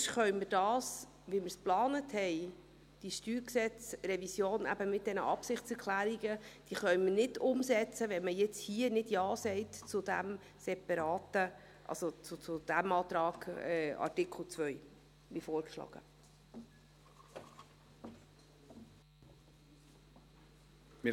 Denn wir können diese StG-Revision mit den Absichtserklärungen, wie wir es geplant haben, nicht umsetzen, wenn man nun zu diesem Antrag Artikel 2, wie er vorgeschlagen ist, nicht Ja sagt.